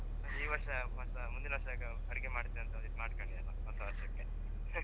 ಈ ವರ್ಷ ಮುಂದಿನ್ ವರ್ಷ ಅಡಿಗೆ ಮಾಡ್ತೀನಿ ಅಂತ ಮಾಡ್ಕಣಿ ಅಲ್ಲ ಹೊಸ ವರ್ಷಕ್ಕೆ